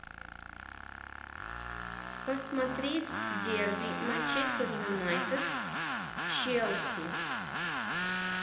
посмотреть дерби манчестер юнайтед с челси